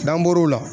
N'an bɔr'o la